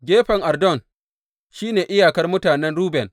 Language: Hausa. Gefen Urdun shi ne iyakar mutanen Ruben.